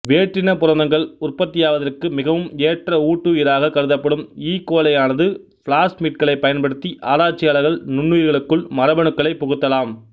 வேற்றின புரதங்கள் உற்பத்தியாவதற்கு மிகவும் ஏற்ற ஊட்டுயிராக கருதப்படும் ஈ கோலையானது பிளாஸ்மிட்களை பயன்படுத்தி ஆராய்ச்சியாள்ர்கள் நுண்ணுயிர்களுக்குள் மரபணுக்களைப் புகுத்தலாம்